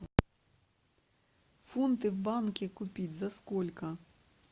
фунты в банке купить за сколько